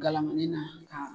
Galamani na ka